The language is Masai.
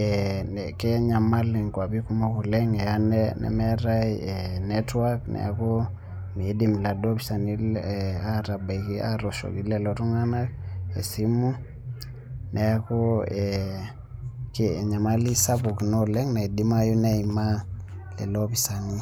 eeh kenyamal inkuapi kumok oleng' eanemeetai netwak[ca] neaku meidim laduo opisani atabaiki atooshoki lelo tung'anak esimu neaku eeh enyamali sapuk ina oleng' naidimayu neimaa lelo opisani.